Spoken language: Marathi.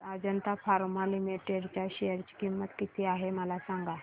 आज अजंता फार्मा लिमिटेड च्या शेअर ची किंमत किती आहे मला सांगा